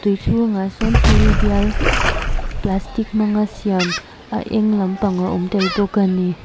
tui chhungah sawn thil bial plastic hmanga siam a eng lampang a awm tel bawk a ni.